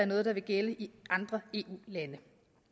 noget der vil gælde i andre eu lande